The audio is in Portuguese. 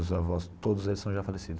Meus avós, todos eles são já falecidos.